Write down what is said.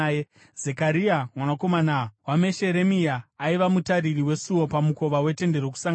Zekaria mwanakomana waMesheremia aiva mutariri wesuo pamukova weTende Rokusangana.